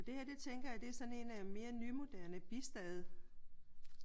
Og det her tænker jeg det er sådan en mere nymoderne bistade